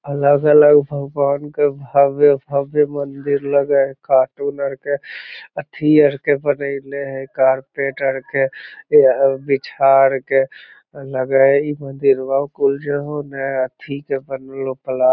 अलग-अलग भगवान के भव्य-भव्य मंदिर लगे हेय कार्टून आर के अथी आर के इने हेय कारपेट आर के बिछार के उने अथी के --